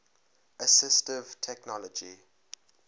assistive technology